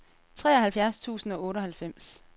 treoghalvfjerds tusind og otteoghalvfems